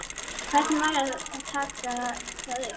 Hvernig væri að taka það upp?